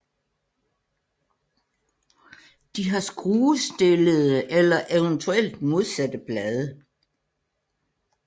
De har skruestillede eller eventuelt modsatte blade